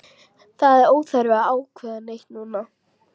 Það er óþarfi að ákveða neitt núna.